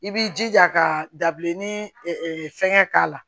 I b'i jija ka dabilennin fɛnkɛ k'a la